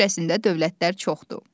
Yer kürəsində dövlətlər çoxdur.